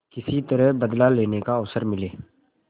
किसी तरह बदला लेने का अवसर मिले